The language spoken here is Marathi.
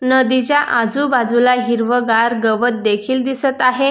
नदीच्या आजूबाजूला हिरव गार गवत देखील दिसत आहे.